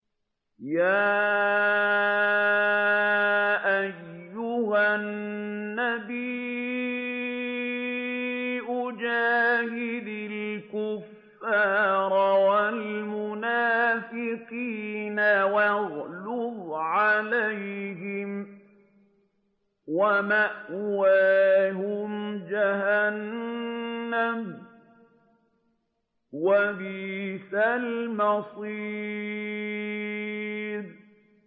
يَا أَيُّهَا النَّبِيُّ جَاهِدِ الْكُفَّارَ وَالْمُنَافِقِينَ وَاغْلُظْ عَلَيْهِمْ ۚ وَمَأْوَاهُمْ جَهَنَّمُ ۖ وَبِئْسَ الْمَصِيرُ